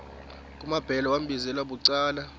kumambhele wambizela bucala